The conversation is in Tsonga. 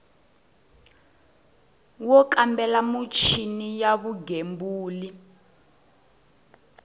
wo kambela michini ya vugembuli